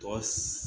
Tɔ